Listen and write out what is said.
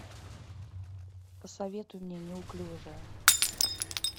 посоветуй мне неуклюжая